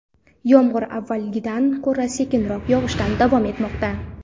Yomg‘ir avvalgidan ko‘ra sekinroq yog‘ishda davom etmoqda.